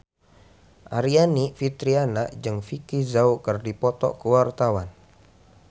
Aryani Fitriana jeung Vicki Zao keur dipoto ku wartawan